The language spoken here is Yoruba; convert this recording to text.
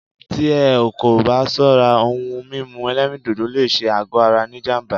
Tí ẹ́ kò bá ṣọ́rá, òhún mímú ẹ̀lẹ́rìndodò lé ṣé àgọ ara ní jám̀bá.